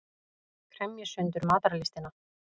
Kremji sundur matarlystina.